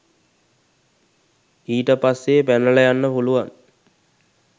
ඊට පස්සේ පැනලා යන්න පුළුවන්